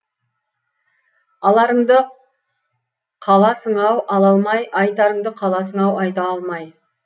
аларыңды қаласың ау ала алмай айтарыңды қаласың ау айта алмай